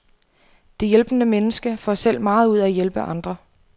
Det hjælpende menneske får selv meget ud af at hjælpe andre.